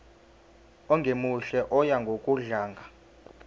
ongemuhle oya ngokudlanga